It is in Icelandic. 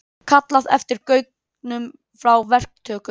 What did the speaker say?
Kallað eftir gögnum frá verktökum